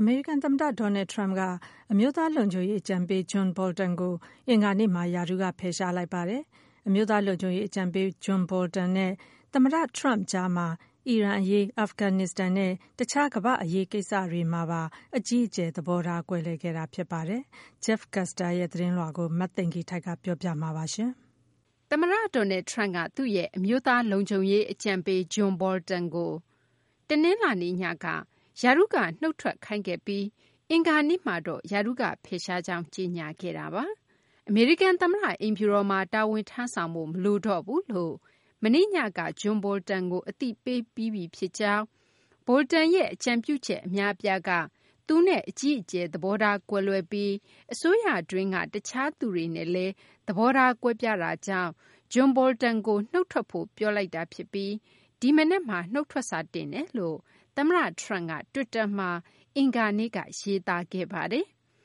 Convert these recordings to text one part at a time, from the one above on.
အမေရိကန် သမ္မတ Donald Trump က အမျိုးသား လုံခြုံရေး အကြံပေး John Bolton ကို အင်္ဂါနေ့မှာ ရာထူးက ဖယ်ရှားလိုက်ပါတယ်။ အမျိုးသား လုံခြုံရေး အကြံပေး John Bolton နဲ့ သမ္မတ Trump ကြားမှာ အီရန်အရေး၊ အာဖဂန် နစ္စတန်နဲ့ တခြား ကမ္ဘာ့ အရေးကိစ္စတို့မှာပါ အကြီးအကျယ် သဘောထား ကွဲလွဲခဲ့တာ ဖြစ်ပါတယ်။ Jeff Custer ရဲ့ သတင်းကို မသိင်္ဂီထိုက် ပြောပြမှာပါ။ သမ္မတ Donald Trump က သူ့ရဲ့ အမျိုးသား လုံခြုံရေး အကြံပေး John Bolton ကို ရာထူးက တနလာၤနေ့ညက နုတ်ထွက်ခိုင်းခဲ့ပြီး အင်္ဂါနေ့မှာတော့ ရာထူးကဖယ်ရှားကြောင်း ကြေညာခဲ့တာပါ။ အမေရိကန်သမ္မတအိမ်ဖြူတော်မှာ တာဝန်ထမ်းဆောင်ဖို့ မလိုတော့ဘူး လို့ မနေ့ညက John Bolton ကို အသိပေးပြီးပြီ ဖြစ်ကြောင်း၊ Bolton ရဲ့ အကြံပြုချက် အများအပြားက သူနဲ့ အကြီးအကျယ် သဘောထား ကွဲလွဲပြီး အစိုးရတွင်းက တခြား သူတွေနဲ့လည်း သဘောထားကွဲပြားတာကြောင့် John Bolton ကို နုတ်ထွက်ဖို့ ပြောလိုက် တာဖြစ်ပြီး ဒီမနက်မှာ နုတ်ထွက်စာတင်တယ်လို့ သမ္မတ Trump က တွစ်တာ မှာ အင်္ဂါနေ့က ရေးသားခဲ့ပါတယ်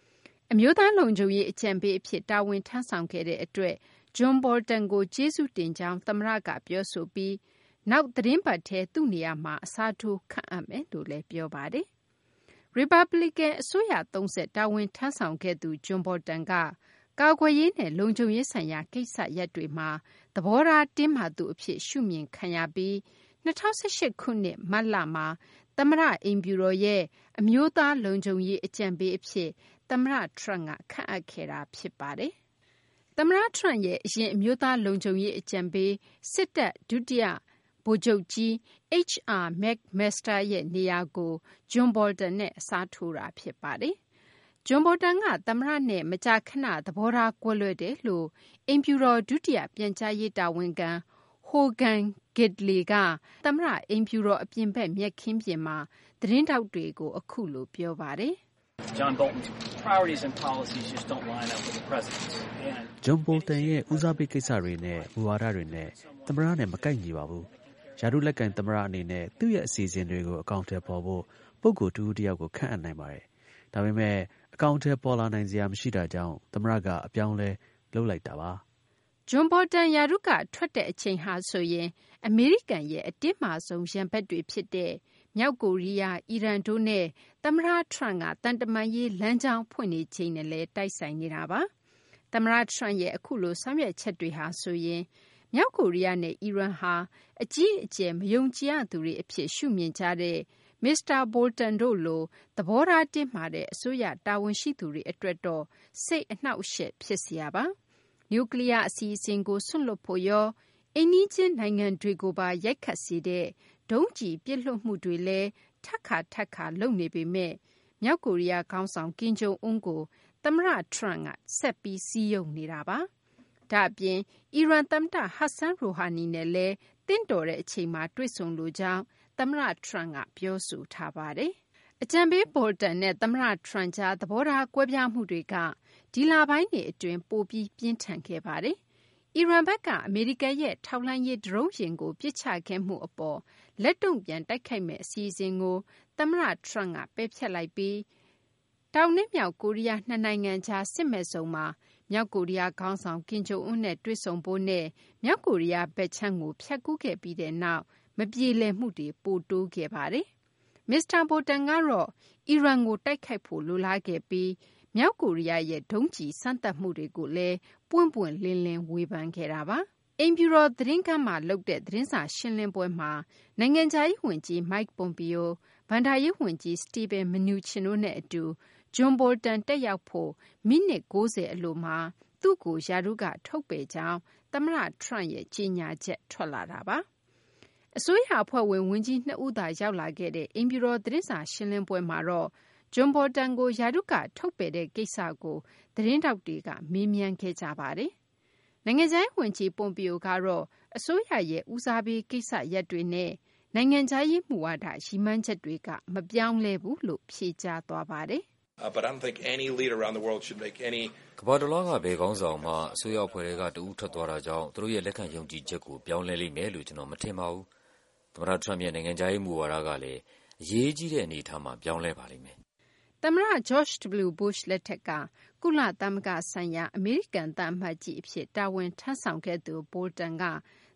။ အမျိုးသား လုံခြုံရေးအကြံပေးအဖြစ် တာဝန် ထမ်းဆောင်ခဲ့တဲ့အတွက် John Bolton ကို ကျေးဇူးတင်ကြောင်း သမ္မတကပြော ဆိုပြီး နောက်သီတင်းပတ်ထဲ သူ့နေရာမှာ အစားထိုး ခန့်အပ်မယ်လို့လည်း ပြောပါတယ်။ ရီပတ်ပလီကန် အစိုးရသုံးဆက် တာဝန်ထမ်းဆောင်ခဲ့သူ John Bolton က ကာကွယ်ရေး နဲ့ လုံခြုံရေးဆိုင်ရာ ကိစ္စရပ်တွေမှာ သဘောထား တင်းမာသူအဖြစ် ရှုမြင် ခံရပြီး ၂၀၁၈ ခုနှစ် မတ်လမှာ သမ္မတအိမ်ဖြူတော်ရဲ့ အမျိုးသား လုံခြုံရေးအကြံပေး အဖြစ် သမ္မတ Trump က ခန့်အပ်ခဲ့တာ ဖြစ်ပါတယ်။ သမ္မတ Trump ရဲ့ အရင် အမျိုးသား လုံခြုံရေးအကြံပေး ဒုတိယဗိုလ်ချုပ်ကြီး H.R. McMaster ရဲ့ နေရာကို John Bolton နဲ့ အစားထိုးခဲ့တာ ဖြစ်ပါတယ်။ John Bolton က သမ္မတနဲ့ မကြာခဏ သဘောထားကွဲလွဲတယ်လို့အိမ်ဖြူတော် ဒုတိယ ပြန်ကြားရေး တာဝန်ခံ Hogan Gidley က အမေရိကန်သမ္မတအိမ်ဖြူတော် အပြင်ဘက်မြက်ခင်းမှာ သတင်းထောက်တွေကို အခုလို ပြောပါတယ်။ “John Bolton ရဲ့ ဦးစားပေးကိစ္စတွေနဲ့ မူဝါဒတွေနဲ့ သမ္မတနဲ့ မကိုက်ညီပါဘူး။ ရာထူး လက်ကိုင် သမ္မတအနေနဲ့ သူ့ရဲ့ အစီအစဉ်တွေကို အကောင်အထည်ဖော်ဖို့ ပုဂ္ဂိုလ် တဦးတယောက်ကို ခန့်အပ်နိုင်ပါတယ်။ ဒါပေမယ့် အကောင်အထည် ပေါ်လာနိုင်စရာ မရှိတာကြောင့်သမ္မတက အပြောင်းအလဲလုပ်လိုက်တာပါ။” John Bolton ရာထူးက ထွက်တဲ့ အချိန်ဟာဆိုရင် အမေရိကန်ရဲ့ အတင်းမာဆုံး ရန်ဘက်တွေ ဖြစ်တဲ့ မြောက်ကိုရီးယားနဲ့ အီရန်တို့နဲ့ သမ္မတ Trump က သံတမန်ရေး လမ်းကြောင်းဖွင့်နေချိန်နဲ့လည်း တိုက်ဆိုင်နေတာပါ။ သမ္မတ Trump ရဲ့ အခုလို ဆောင်ရွက်ချက်တွေဟာဆိုရင် မြောက်ကိုရီးယားနဲ့ အီရန်ဟာ အကြီးအကျယ် မယုံကြည်ရသူတွေ အဖြစ် ရှုမြင်ကြတဲ့ မစ္စတာ Bolton တို့လို သဘောထား တင်းမာတဲ့ အစိုးရ တာဝန်ရှိသူတွေ အတွက်တော့ စိတ်အနှောင့်အယှက် ဖြစ်စရာပါ။ နျူကလီယား အစီအစဉ်ကို စွန့်လွှတ်ဖို့ရော၊ အိမ်နီးချင်း နိုင်ငံတွေကိုပါ ရိုက်ခတ်စေတဲ့ ဒုံးကျည်ပစ်လွှတ်မှုတွေလည်း ထပ်ခါ ထပ်ခါ လုပ်နေပေမယ့်လည်း မြောက်ကိုရီးယား ခေါင်းဆောင် ကင်ဂျုံအွန်းကို သမ္မတ Trump က ဆက်ပြီး စည်းရုံးနေတာပါ။ ဒါ့အပြင် အီရန် သမ္မတ Hassan Rouhani နဲ့လည်း သင့်တော်တဲ့တချိန်မှာ တွေ့ဆုံလိုကြောင်း သမ္မတ Trump က ပြောဆိုထားတာပါ။ အကြံပေး Bolton နဲ့ သမ္မတ Trump ကြား သဘောထား ကွဲပြားမှုတွေက ဒီလပိုင်းတွေ အတွင်း ပိုပြီး ပြင်းထန်လာခဲ့ပါတယ်။ အီရန်ဘက်က အမေရိကန်ရဲ့ ထောက်လှမ်းရေး ဒရုန်းယာဉ်ကို ပစ်ချခဲ့မှုအပေါ် လက်တုံ့ပြန် တိုက်ခိုက်မယ့်အစီအစဉ်ကို သမ္မတ Trump က ဖျက်လိုက်ပြီး တောင်နဲ့မြောက် ကိုရီးယားနှစ်နိုင်ငံကြား စစ်မဲ့ဇုန်မှာ သမ္မတ Trump က မြောက်ကိုရီးယားခေါင်းဆောင် ကင်ဂျုံအွန်းကိုတွေ့ဆုံဖို့နဲ့ မြောက် ကိုရီးယားဘက်ခြမ်းကို ဖြတ်ကူးခဲ့ပြီးနောက်ပိုင်း မပြေလည်မှုတွေက ပိုများလာခဲ့တာပါ။ မစ္စတာ Bolton ကတော့ အီရန်ကို တိုက်ဖို့ လိုလားခဲ့ပြီး မြောက်ကိုရီးယားရဲ့ ဒုံးကျည် စမ်းသပ်မှုတွေကိုလည်း ပွင့်ပွင့်လင်းလင်း ဝေဖန်ခဲ့တာပါ။ အမေရိကန် သမ္မတအိမ်ဖြူတော် သတင်းခန်းမှာ သတင်းစာရှင်းလင်းပွဲမှာ နိုင်ငံခြားရေး ဝန်ကြီး Mike Pompeo၊ ဘဏ္ဍာရေး ဝန်ကြီး Steven Mnuchin တို့နဲ့ အတူ John Bolton တက်ရောက်ဖို့ မိနစ် ၉၀ အလိုမှာ သူ့ကို ရာထူးက ထုတ်ပယ်ကြောင်း သမ္မတ Trump ရဲ့ ကြေညာချက် ထွက်လာတာပါ။ အစိုးရအဖွဲ့ဝင် ဝန်ကြီးနှစ်ဦးသာ ရောက်လာခဲ့တဲ့ အိမ်ဖြူတော် သတင်းစာရှင်းလင်းပွဲမှာတော့ John Bolton ကို ရာထူးက ထုတ်ပယ်လိုက် တဲ့ကိစ္စကို သတင်းထောက်တွေက မေးမြန်းခဲ့ကြပါတယ်။ နိုင်ငံခြားရေး ဝန်ကြီး Pompeo ကတော့ အစိုးရရဲ့ ဦးစားပေး ကိစ္စရပ်တွေနဲ့ နိုင်ငံခြားရေး မူဝါဒ ရည်မှန်းချက်တွေက မပြောင်းလဲဘူးလို့ ဖြေကြားသွားပါတယ်။ “ကမ္ဘာတလွှားက ဘယ်ခေါင်းဆောင်မှ အစိုးရ အဖွဲ့ထဲက တဦးထွက်သွားတာကြောင့် သူတို့ရဲ့ လက်ခံယုံကြည်ချက်ကို ပြောင်းလဲလိမ့်မယ်လို့ ကျနော် မထင်ပါဘူး။ သမ္မတ Trump ရဲ့ နိုင်ငံခြားရေး မူဝါဒကလည်း အရေးကြီးတဲ့ အနေအထားမှာ ပြောင်းလဲပါ လိမ့် မယ်။” သမ္မတ George W. Bush လက်ထက်က ကုလသမဂ္ဂဆိုင်ရာ အမေရိကန် သံအမတ်ကြီး အဖြစ် တာဝန်ထမ်းဆောင်ခဲ့သူBolton က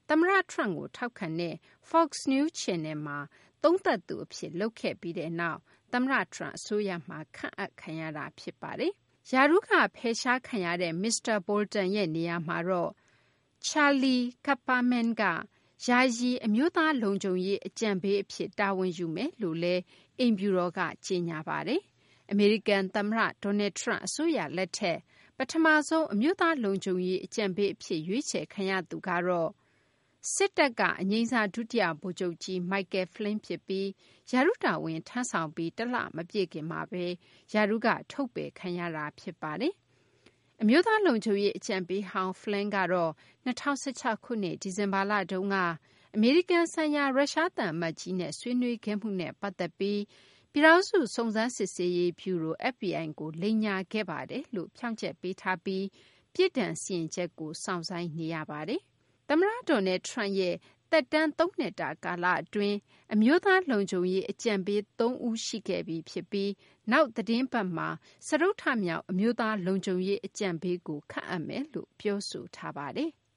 သမ္မတ Trump ကို ထောက်ခံတဲ့ Fox News Channel မှာ သုံးသပ်သူ အဖြစ် လုပ်ခဲ့ပြီးနောက် သမ္မတ Trump အစိုးရမှာ ခန့်အပ်ခံရ တာ ဖြစ်ပါတယ်။ ရာထူးက ဖယ်ရှားခံရတဲ့ မစ္စတာ Bolton ရဲ့ နေရာမှာတော့ Charlie Kupperman က ယာယီ အမျိုးသားလုံခြုံရေးအဖြစ် တာဝန်ယူမယ်လို့လည်း အိမ်ဖြူတော် က ကြေညာပါတယ်။ အမေရိကန် သမ္မတ Donald Trump အစိုးရ လက်ထက် ပထမဆုံး အမျိုးသား လုံခြုံရေး အကြံပေးအဖြစ် ရွေးချယ်ခံရသူကတော့ စစ်တပ်က အငြိမ်းစား ဒုတိယဗိုလ်ချုပ်ကြီး Michael Flynn ဖြစ်ပြီး ရာထူးတာဝန် ထမ်းဆောင်ပြီး တလ မပြည့်ခင်မှာပဲ ရာထူးက ထုတ်ပယ်ခံရတာ ဖြစ်ပါတယ်။ အမျိုးသား လုံခြုံရေး အကြံပေးဟောင်း Flynn ကတော့ ၂၀၁၆ ခုနှစ် ဒီဇင်ဘာလတုန်းက အမေရိကန်ဆိုင်ရာ ရုရှား သံအမတ်ကြီးနဲ့ ဆွေးနွေးခဲ့မှုနဲ့ပတ်သက်ပြီး ပြည်ထောင်စု စုံစမ်း စစ်ဆေးရေး ဗျူရို FBI ကို လိမ်ညာခဲ့ပါတယ်လို့ ဖြောင့်ချက်ပေးထားပြီး ပြစ်ဒဏ် စီရင်ချက် ကို စောင့်ဆိုင်းနေရပါတယ်။ သမ္မတ Donald Trump ရဲ့ သမ္မတ သက်တမ်း ၃ နှစ်တာ ကာလအတွင်း အမျိုးသား လုံခြုံရေး အကြံပေး ၃ ဦး ရှိခဲ့ပြီ ဖြစ်ပြီး နောက် သီတင်း ပတ်မှာ စတုတ္ထမြောက် အမျိုးသားလုံခြုံရေး အကြံပေးကို ခန့်အပ်မယ်လို့ ပြောဆိုထားပါတယ်။